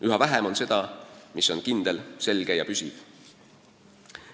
Üha vähem on seda, mis on kindel, selge ja püsiv.